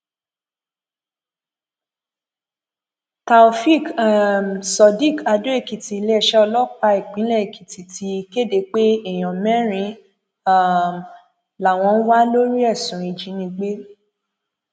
taofeek um surdiq àdóèkìtì iléeṣẹ ọlọpàá ìpínlẹ èkìtì ti kéde pé èèyàn mẹrin um làwọn ń wà lórí ẹsùn ìjínigbé